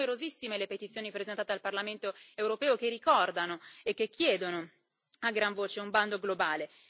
Sono numerosissime le petizioni presentate al Parlamento europeo che ricordano e che chiedono a gran voce un bando globale.